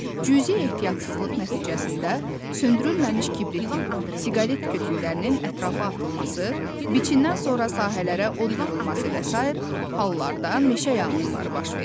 Cüzi ehtiyatsızlıq nəticəsində söndürülməmiş kibritin, siqaret kötüyünün ətrafa atılması, biçindən sonra sahələrə od vurulması və sair hallarda meşə yanğınları baş verir.